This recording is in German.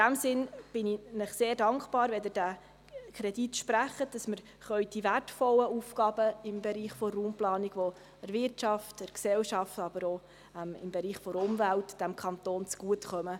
In diesem Sinne bin ich Ihnen sehr dankbar, wenn Sie diesen Kredit sprechen, damit wir die wertvollen Aufgaben im Bereich der Raumplanung vorantreiben können, die der Wirtschaft, der Gesellschaft, aber auch der Umwelt in diesem Kanton zugutekommen.